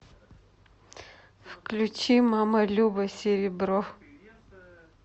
включи мама люба серебро